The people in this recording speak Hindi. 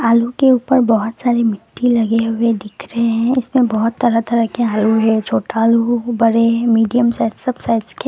आलू के ऊपर बहोत सारी मिट्टी लगी हुई दिख रहे है इसमें बहुत तरह तरह के आलू है छोटा आलू हो बड़े है मीडियम साइज सब साइज के।